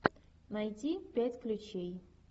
найти пять ключей